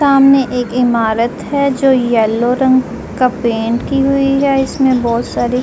सामने एक इमारत है जो येलो रंग का पेंट किए हुई है इसमे बोहोत सारी --